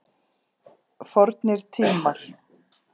Fornir tímar.